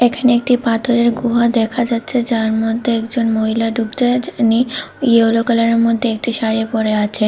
এখানে একটি পাথরের গুহা দেখা যাচ্ছে যার মধ্যে একজন মহিলা ঢুকছে যিনি ইয়োলো কালারের মধ্যে একটি শাড়ি পড়ে আছে।